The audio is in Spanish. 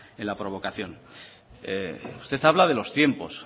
en la provocación usted habla de los tiempos